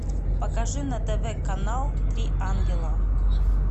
покажи на тв канал три ангела